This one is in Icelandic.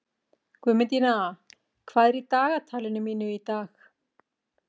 Guðmundína, hvað er í dagatalinu mínu í dag?